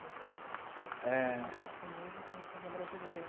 Da casa. É...da cultura japonesa com a coisa brasileira.